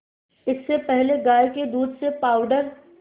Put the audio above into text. इससे पहले गाय के दूध से पावडर